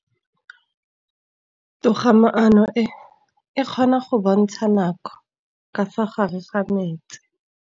Toga-maanô e, e kgona go bontsha nakô ka fa gare ga metsi.